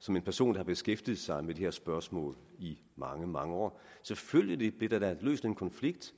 som en person der har beskæftiget sig med de her spørgsmål i mange mange år selvfølgelig blev der da løst en konflikt